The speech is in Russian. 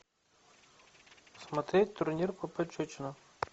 смотреть турнир по пощечинам